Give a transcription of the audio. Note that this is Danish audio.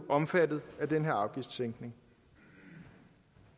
omfattet af den her afgiftssænkning